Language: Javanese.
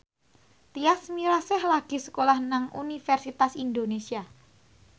Tyas Mirasih lagi sekolah nang Universitas Indonesia